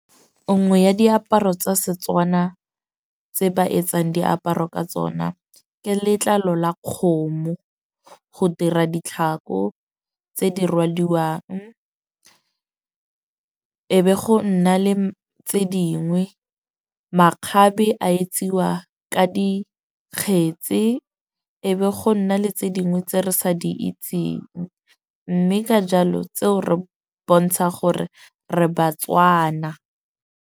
Nngwe ya diaparo tsa Setswana tse ba etsang diaparo ka tsona, ke letlalo la kgomo go dira ditlhako tse di rwaduwang. E be go nna le tse dingwe, makgabe a etsiwa ka dikgetse. E be go nna le tse dingwe tse re sa di itseng. Mme ka jalo tseo re bontsha gore re ba-Tswana.